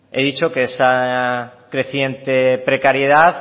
he dicho que esa creciente precariedad